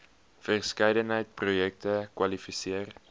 verskeidenheid projekte kwalifiseer